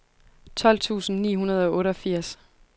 tolv tusind ni hundrede og otteogfirs